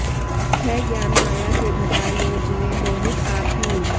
है ज्ञान माया से ढका यों जीव मोहित आप ही